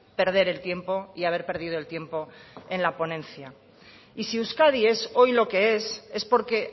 perder el tiempo y haber perdido el tiempo en la ponencia y si euskadi es hoy lo que es es porque